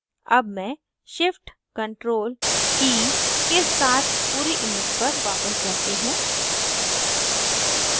अब मैं shift + ctrl + e के साथ पूरी image पर वापस जाती हूँ